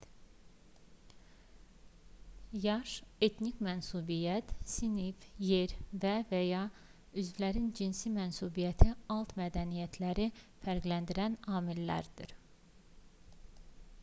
yaş etnik mənsubiyyət sinif yer və/və ya üzvlərin cinsi mənsubiyyəti alt mədəniyyətləri fərqləndirən amillərdir